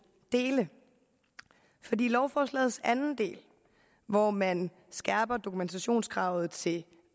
dele lovforslagets anden del hvor man skærper dokumentationskravet til